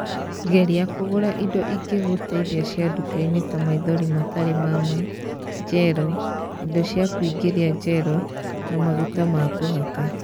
Geria kũgũra indo ingĩgũteithia cia nduka-inĩ ta maithori matarĩ ma ma, gel, indo cia kũingĩria gel na maguta ma kũhaka.